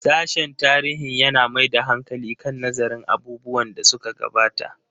Sashen tarihin yana mai da hankali kan nazarin abubuwan da suka gabata.